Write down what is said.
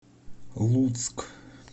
луцк